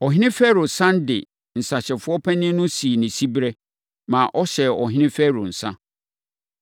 Ɔhene Farao sane de ne nsãhyɛfoɔ panin no sii ne siberɛ, ma ɔhyɛɛ ɔhene Farao nsã.